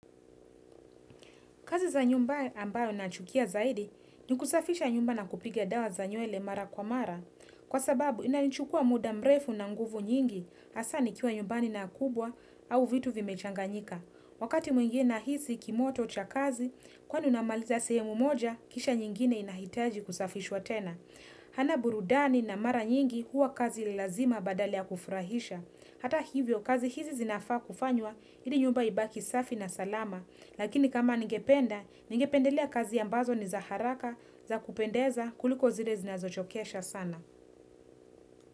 Kazi za nyumba ambayo na chukia zaidi, ni kusafisha nyumba na kupigia dawa za nywele mara kwa mara. Kwa sababu, ina nchukua muda mrefu na nguvu nyingi, hasaa ni kiwa nyumbani na kubwa au vitu vimechanganyika. Wakati mwingine na hisi kimoto cha kazi, kwani unamaliza sehemu moja, kisha nyingine inahitaji kusafishwa tena. Hana burudani na mara nyingi huwa kazi ilazima badala ya kufurahisha. Hata hivyo, kazi hizi zinafaa kufanywa, ili nyumba ibaki safi na salama, lakini kama ningependa, ningependelea kazi ambazo ni za haraka za kupendeza kuliko zile zinazo chokesha sana.